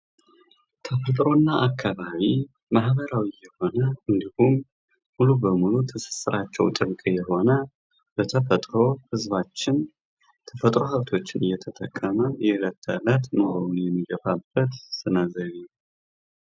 ተፈጥሮ እና አካባቢ ማህበራዊ የሆነ እንዲሁም ሙሉ በሙሉ ትሥሥራቸው ጥብቅ የሆነ፤ በተፈጥሮ ህዝባችን የተፈጥሮ የተፈጥሮ ሃብቶችን እየተጠቀመ የእለት ተእለት ኑሮውን የሚገፋበት ስነ ዘይቤ ነው።